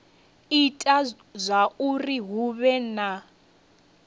ita zwauri hu vhe na